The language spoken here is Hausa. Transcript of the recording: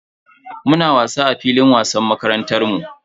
Muna wasa a filin wasan makarantar mu.